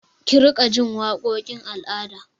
Ki riƙa ji waƙokin al'ada!